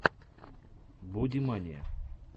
бодимания